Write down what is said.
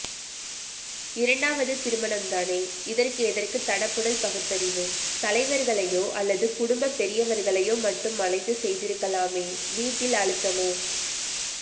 இரண்டாவது திருமணம் தானே இதற்கு எதற்கு தடபுடல் பகுத்தறிவு தலைவர்களையோ அல்லது குடும்பபெரியவர்களையோ மட்டும் அழைத்து செய்திருக்கலாமே வீட்டில் அழுத்தமோ